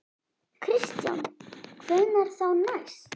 Kristján: Hvenær þá næst?